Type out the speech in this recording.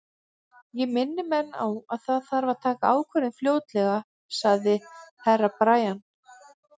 Ég minni menn á að það þarf að taka ákvörðun fljótlega, sagði Herra Brian.